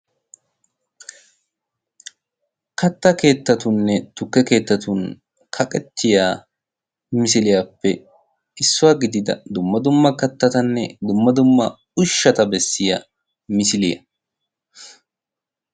katta keettatunne tukke keettatun kaqettiya misiliyaappe issuwaa gidida dumma dumma kattatanne dumma dumma ushshata bessiya misiliyaa.